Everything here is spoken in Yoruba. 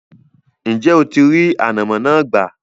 ǹjẹ́ o ti rí “ànàmọ́” náà gbà?